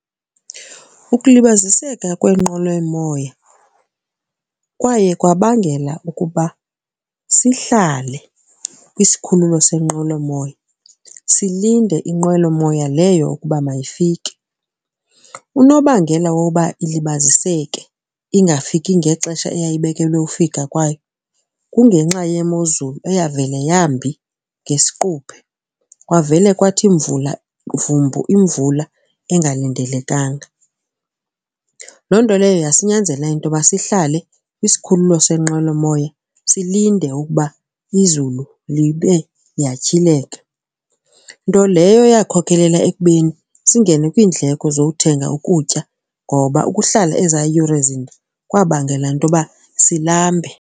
Ukulibaziseka kweenqwelomoya kwaye kwabangela ukuba sihlale kwisikhululo senqwelomoya silinde inqwelomoya leyo ukuba mayifike. Unobangela woba ilibaziseke ingafiki ngexesha eyayibekelwe ufika kwayo kungenxa yemozulu eyavele yambi ngesiquphe, kwavele kwathi imvula vumbu imvula engalindelekanga. Loo nto leyo yasinyanzela into yoba sihlale kwisikhululo senqwelomoya silinde ukuba izulu libe liyatyhileka. Nto leyo eyakhokelela ekubeni singene kwiindleko zothenga ukutya ngoba ukuhlala eza yure zinde kwabangela intoba silambe.